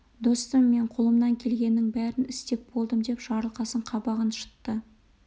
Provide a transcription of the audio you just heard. достым мен қолымнан келгенінің бәрін істеп болдым деп жарылқасын қабағын шытты